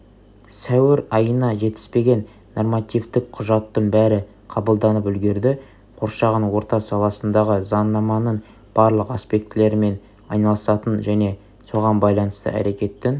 сәуір айына жетіспеген нормативтік құжаттың бәрі қабылданып үлгерді қоршаған орта саласындағы заңнаманың барлық аспектілерімен айналысатын және соған байланысты әрекеттің